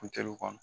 Funteniw kɔnɔ